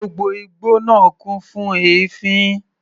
Gbogbo igbó náà kún fún èéfín.